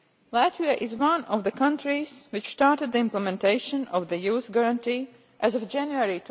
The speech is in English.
Latvia is one of the countries which started the implementation of the Youth Guarantee as of January